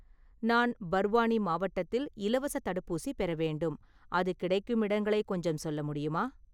நான் பர்வானி மாவட்டத்தில் இலவசத் தடுப்பூசி பெற வேண்டும், அது கிடைக்கும் இடங்களை கொஞ்சம் சொல்ல முடியுமா?